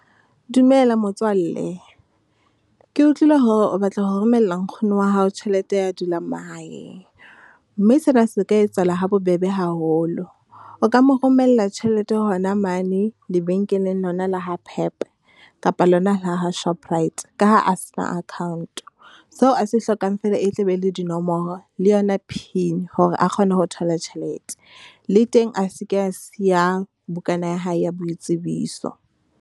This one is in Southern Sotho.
Dumela motswalle, ke utlwile hore o batla ho romella nkgono wa hao tjhelete ya dulang mahaeng, mme sena se ka etsahala ha bobebe haholo. O ka mo romella tjhelete hona mane lebenkeleng lona la ha Pep, kapa lona la ha Shoprite ka ha a se na account. Seo a se hlokang fela e tla be e le dinomoro le yona pin, hore a kgone ho thola tjhelete. Le teng a seke a siya bukana ya hae ya boitsebiso.